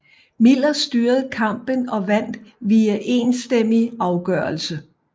Miller styrede kampen og vandt via enstemmig afgørelse